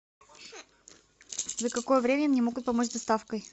за какое время мне могут помочь с доставкой